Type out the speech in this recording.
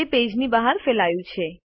તે પેજની બહાર ફેલાયું છે